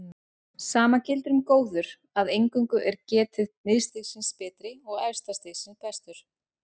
Sama gildir um góður að eingöngu er getið miðstigsins betri og efsta stigsins bestur.